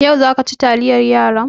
Yau za ka ci taliyar yaran?